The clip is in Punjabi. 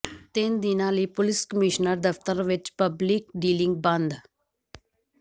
ਤਿੰਨ ਦਿਨਾਂ ਲਈ ਪੁਲਿਸ ਕਮਿਸ਼ਨਰ ਦਫ਼ਤਰ ਵਿੱਚ ਪਬਲਿਕ ਡੀਲਿੰਗ ਬੰਦ